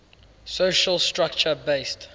social structure based